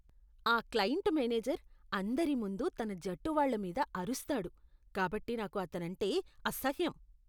ఆ client manager అందరి ముందు తన జట్టు వాళ్ళ మీద అరుస్తాడు కాబట్టి నాకు అతనంటే అసహ్యం.